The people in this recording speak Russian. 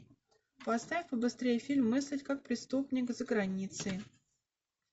поставь побыстрее фильм мыслить как преступник за границей